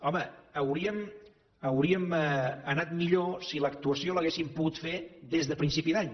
home hauríem anat millor si l’actuació l’haguéssim pogut fer des de principi d’any